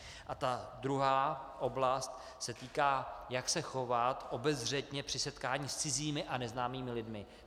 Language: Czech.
A ta druhá oblast se týká, jak se chovat obezřetně při setkání s cizími a neznámými lidmi.